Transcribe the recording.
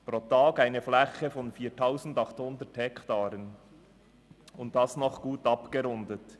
Pro Tag entspricht das einer Fläche von 4800 Hektaren, und dies noch gut abgerundet.